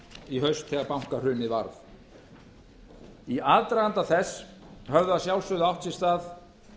í haust þegar bankahrunið varð í aðdraganda þess höfðu að sjálfsögðu átt sér stað